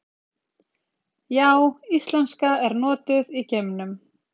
Já, íslenska er notuð í geimnum!